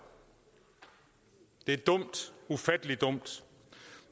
det er dumt ufattelig dumt